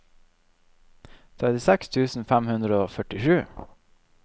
trettiseks tusen fem hundre og førtisju